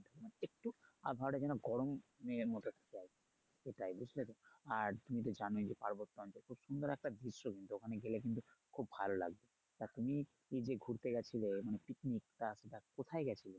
মানে একটু আবহাওয়াটা যেন গরম মানে এর মত একটু যায় সেটাই বুঝলে তো আর তুমি তো জানোই যে পার্বত্য অঞ্চল খুব সুন্দর একটা দৃশ্য কিন্তু ওখানে গেলে কিন্তু খুব ভালো লাগবে তা তুমি এই যে ঘুরতে গেছিলে মানে পিকনিক টা সেটা কোথায় গেছিলে?